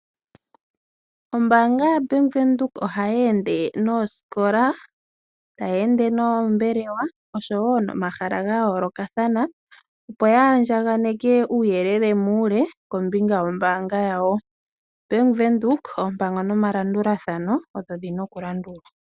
Ombaanga yaBank Windhoek ohayeende noosikola ,tayeende noombelewa oshowo nomahala gayoolokathana opo yaandjaganeke uuyelele muule kombinga yombaanga yawo. Bank Windhoek oompango nomalandulathano ogo gena okulandulwa.